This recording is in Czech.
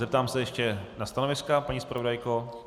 Zeptám se ještě na stanoviska - paní zpravodajko?